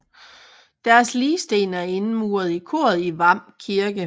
Deres ligsten er indmuret i koret i Hvam Kirke